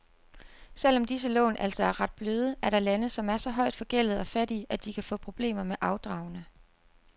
Selv om disse lån altså er ret bløde, er der lande, som er så højt forgældede og fattige, at de kan få problemer med afdragene.